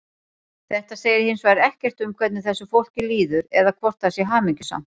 Þetta segir hins vegar ekkert um hvernig þessu fólki líður eða hvort það sé hamingjusamt.